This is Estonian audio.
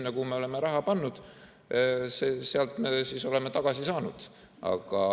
Sealt, kuhu me oleme raha pannud, me oleme tagasi saanud.